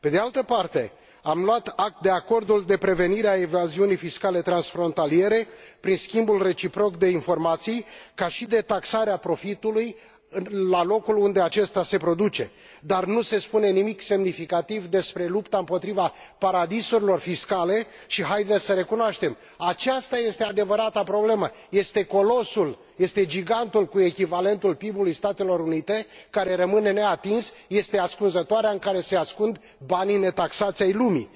Pe de altă parte, am luat act de acordul de prevenire a evaziunii fiscale transfrontaliere prin schimbul reciproc de informații, ca și de taxarea profitului la locul unde acesta se produce, dar nu se spune nimic semnificativ despre lupta împotriva paradisurilor fiscale și, haideți să recunoaștem, aceasta este adevărata problemă, este colosul, este gigantul, echivalent cu PIB ului Statelor Unite, care rămâne neatins, este ascunzătoarea în care se ascund banii netaxați ai lumii.